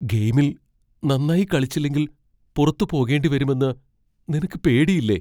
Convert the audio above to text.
ഗെയിമിൽ നന്നായി കളിച്ചില്ലങ്കിൽ പുറത്ത് പോകേണ്ടി വരുമെന്ന് നിനക്ക് പേടിയില്ലേ?